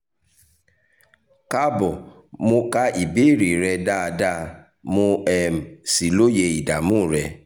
kaabomo ka ìbéèrè rẹ rẹ dáadáa mo um sì lóye ìdààmú rẹ